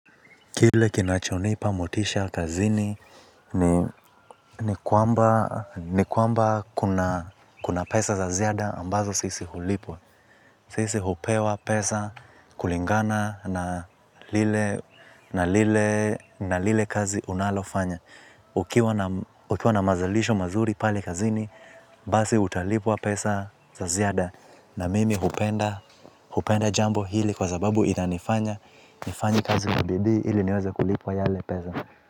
Kile kinachonipa motisha kazini ni kwamba kuna pesa za ziada ambazo sisi hulipwa. Sisi hupewa pesa kulingana na lile na lile kazi unalofanya. Ukiwa na mazalisho mazuri pale kazini basi utalipwa pesa za ziada. Na mimi hupenda, hupenda jambo hili kwa sababu inanifanya. Nifanye kazi kwa bidii ili niweze kulipwa yale pesa.